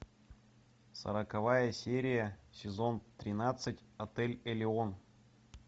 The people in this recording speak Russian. сороковая серия сезон тринадцать отель элеон